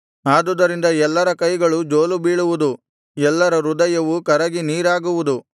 ಆದುದರಿಂದ ಎಲ್ಲರ ಕೈಗಳು ಜೋಲು ಬೀಳುವುದು ಎಲ್ಲರ ಹೃದಯವು ಕರಗಿ ನೀರಾಗುವುದು